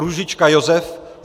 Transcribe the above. Růžička Josef